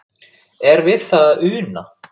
Er við það að una?